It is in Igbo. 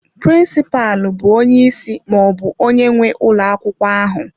Prịnsịpalụ bụ onye isi maọbụ onye nwe ụlọ akwụkwọ ahụ.